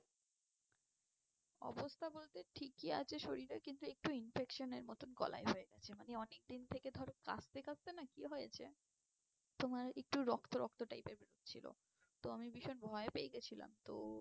অবস্থা বলতে ঠিকই আছে শরীরে, কিন্তু একটু infection এর মতন গলায় হয়ে গেছে। মানে অনেকদিন থেকে ধরো কাশতে কাশতে না কি হয়েছে তোমার একটু রক্ত রক্ত type এর বেরিয়েছিল। তো আমি ভীষণ ভয় পেয়ে গিয়েছিলাম। তো